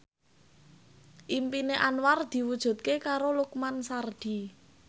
impine Anwar diwujudke karo Lukman Sardi